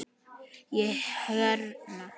Ég hérna.